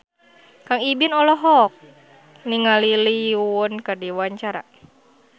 Kang Ibing olohok ningali Lee Yo Won keur diwawancara